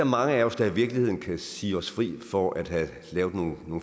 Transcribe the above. mange af os der i virkeligheden kan sige os fri for at have lavet nogle